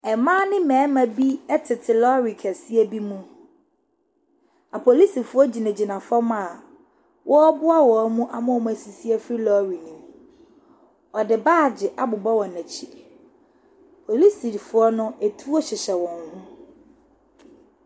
Mmaa ne mmarima bi tete lɔre kɛseɛ bi mu. Apolisifoɔ gyinagyina fam a wɔreboa wɔn ama wɔasisi afiri lɔɔre no mu. Wɔde baage abobɔ wɔn akyi. Polisifoɔ no, ɛtuo hyɛhyɛ wɔn ho.